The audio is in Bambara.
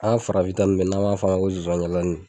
An farafin ta nun filɛ n'an m'a fɔ o ma ko zonzan jalanin.